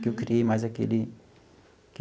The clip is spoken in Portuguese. Que eu criei mais aquele